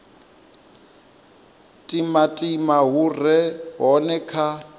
timatima hu re hone kha